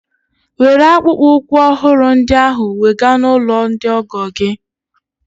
Were akpụkpọ ụkwụ ọhụrụ ndị ahụ wega n'ụlọ ndị ọgọ gị!